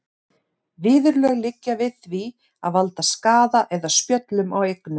Viðurlög liggja við því að valda skaða eða spjöllum á eignum.